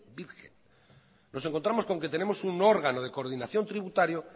virgen nos encontramos con que tenemos un órgano de coordinación tributario